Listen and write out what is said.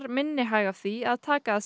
minni hag af því að taka að